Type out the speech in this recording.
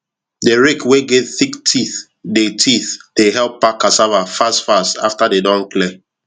the rake wey get thick teeth dey teeth dey help pack cassava fast fastafter dey don clear